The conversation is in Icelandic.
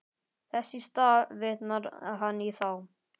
Þess í stað vitnar hann í þá.